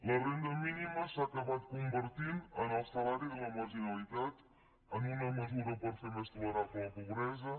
la renda mínima s’ha acabat convertint en el salari de la marginalitat en una mesura per fer més tolerable la pobresa